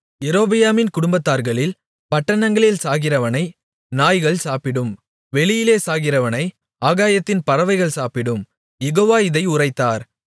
யெரொபெயாமின் குடும்பத்தார்களில் பட்டணத்தில் சாகிறவனை நாய்கள் சாப்பிடும் வெளியிலே சாகிறவனை ஆகாயத்தின் பறவைகள் சாப்பிடும் யெகோவா இதை உரைத்தார்